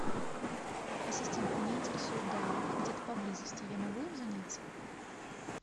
ассистент меня интересует дайвинг где то поблизости я могу им заняться